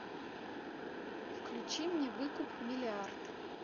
включи мне выкуп миллиард